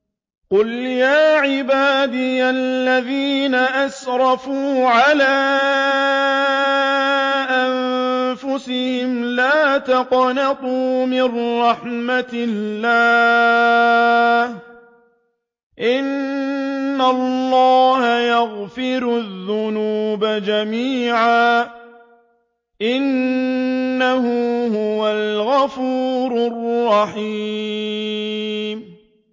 ۞ قُلْ يَا عِبَادِيَ الَّذِينَ أَسْرَفُوا عَلَىٰ أَنفُسِهِمْ لَا تَقْنَطُوا مِن رَّحْمَةِ اللَّهِ ۚ إِنَّ اللَّهَ يَغْفِرُ الذُّنُوبَ جَمِيعًا ۚ إِنَّهُ هُوَ الْغَفُورُ الرَّحِيمُ